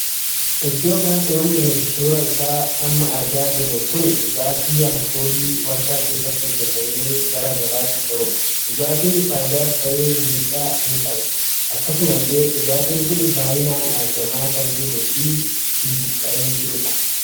Iddoo kanatti wanti nuti suuraa isaa amma argaa jirru kun dhugaatii alkoolii warshaa keessatti hojjetamee gara gabaatti ba'udha. dhugaatiin faayidaas tahe miidhaas qaba. akkasuma illee dhugaatiin kun baay'inaan argamaa kan jiruu fi hin buqqayin jirudha.